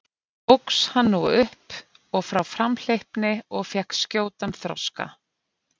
Óx hann nú upp og frá framhleypni og fékk skjótan þroska.